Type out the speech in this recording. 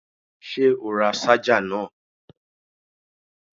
Ṣé o ra ṣájà náà?